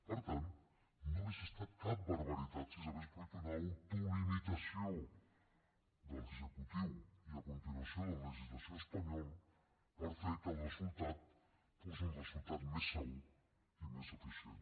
per tant no hauria estat cap barbaritat si s’hagués produït una autolimitació de l’executiu i a continuació del legislatiu espanyol per fer que el resultat fos un resultat més segur i més eficient